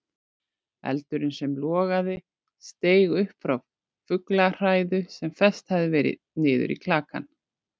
Eldurinn sem logaði steig upp frá fuglahræðu sem fest hafði verið niður í klakann.